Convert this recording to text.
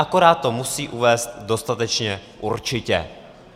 Akorát to musí uvést dostatečně určitě.